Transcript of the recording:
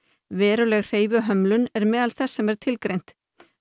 veruleg hreyfihömlun er meðal þess sem er tilgreint